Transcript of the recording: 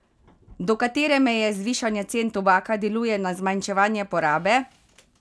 Do katere meje zvišanje cen tobaka deluje na zmanjševanje porabe?